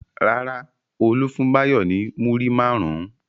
Rárá, Olú fún Báyọ̀ ní múrí márùn-ún.